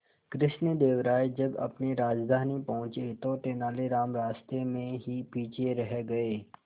कृष्णदेव राय जब अपनी राजधानी पहुंचे तो तेलानीराम रास्ते में ही पीछे रह गए